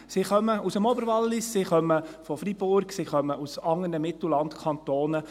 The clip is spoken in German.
Sie kommen aus dem Oberwallis, sie kommen aus Freiburg, sie kommen aus anderen Mittellandkantonen.